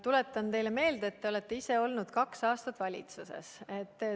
Tuletan teile meelde, et te olete ise olnud kaks aastat valitsuses.